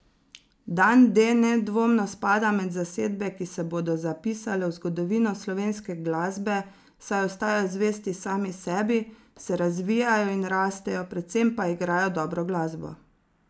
Dan D nedvomno spada med zasedbe, ki se bodo zapisale v zgodovino slovenske glasbe, saj ostajajo zvesti sami sebi, se razvijajo in rastejo, predvsem pa igrajo dobro glasbo.